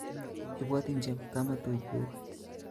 Ibwotin chepkamatunguk